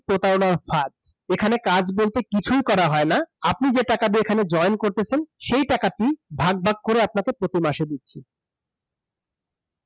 প্রতারনার ফাদ, এখানে কাজ বলতে কিছুই করা হয় না । আপনি যেই টাকা দিয়ে এখানে join করতেসেন সেই টাকাটি ভাগ ভাগ করে আপনাকে প্রতি মাসে দিচ্ছে।